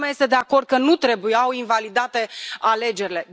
Toată lumea este de acord că nu trebuiau invalidate alegerile.